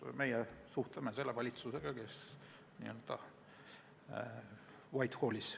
Meie suhtleme selle valitsusega, kes töötab White Hallis.